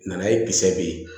Nana ye kisɛ be yen